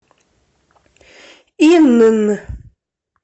инн